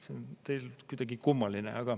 See on teil kuidagi kummaline.